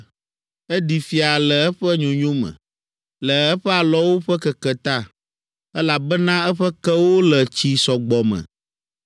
Eɖi fia le eƒe nyonyo me, le eƒe alɔwo ƒe keke ta, elabena eƒe kewo le tsi sɔgbɔ me.